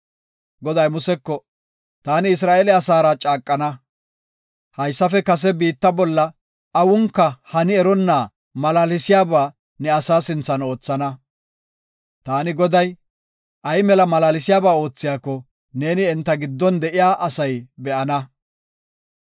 Goday Museko, “Taani Isra7eele asaara caaqana. Haysafe kase biitta bolla awunka hani eronna malaalsiyaba ne asaa sinthan oothana. Taani Goday, ay mela malaalsiyaba oothiyako, neeni enta giddon de7iya asay be7ana.